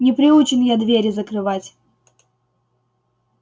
не приучен я двери закрывать